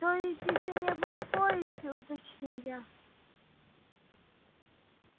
то есть ещё не было в поезде уточнил я